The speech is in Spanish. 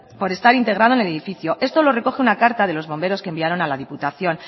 por estar integrado en el edificio esto lo recoge una carta de los bomberos que enviaron a la diputación